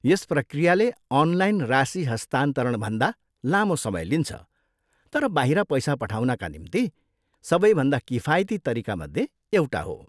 यस प्रक्रियाले अनलाइन राशि हस्तान्तरणभन्दा लामो समय लिन्छ तर बाहिर पैसा पठाउनका निम्ति सबैभन्दा किफायती तरिकामध्ये एउटा हो।